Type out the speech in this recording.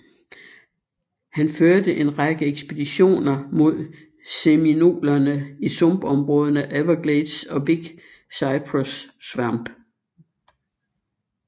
Han førte en række ekspeditioner mod seminolerne i sumpområderne Everglades og Big Cyprus Swamp